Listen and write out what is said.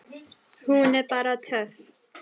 Hún er bara töff.